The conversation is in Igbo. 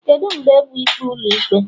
Kedu mgbe bụ ikpe Ụlọikpe?